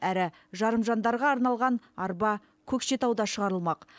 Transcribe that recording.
әрі жарым жандарға арналған арба көкшетауда шығарылмақ